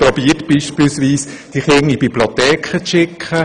So hat man etwa versucht, die Kinder in die Bibliotheken zu holen.